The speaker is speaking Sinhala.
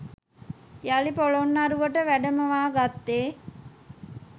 යළි පොළොන්නරුවට වැඩමවා ගත්තේ